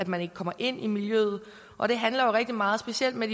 man ikke kommer ind i miljøet og det handler jo rigtig meget specielt hvad